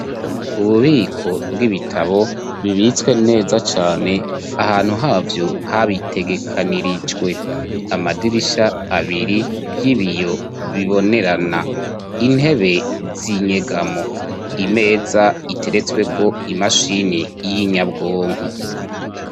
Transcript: Ububiko bw'ibitabo bibitswe neza cane ahantu havyo habitegekanirijwe amadirisha abiri y'ibiyo bibonerana intebe z'inyegamo imeza iteretswe ko imashini y'inyabwonko.